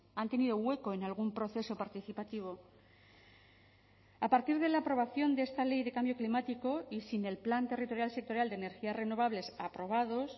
han tenido hueco en algún proceso participativo a partir de la aprobación de esta ley de cambio climático y sin el plan territorial sectorial de energías renovables aprobados